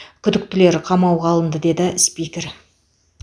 күдіктілер қамауға алынды деді спикер